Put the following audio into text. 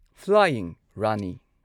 flying Rani